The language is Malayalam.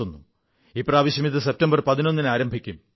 ഇപ്രാവശ്യം ഇത് സെപ്റ്റംബർ 11 ന് ആരംഭിക്കും